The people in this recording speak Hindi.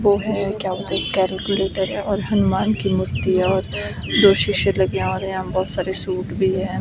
वो है क्या बोलते कैलकुलेटर है और हनुमान की मूर्ति है और दो शीशे लगे हैं और यहां बहुत सारे सूट भी हैं।